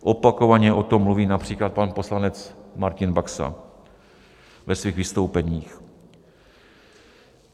Opakovaně o tom mluví například pan poslanec Martin Baxa ve svých vystoupeních.